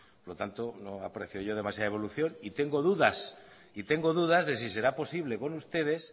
por lo tanto no aprecio yo demasiada evaluación pastor jauna interpelazioa da y tengo dudas de si será posible por ustedes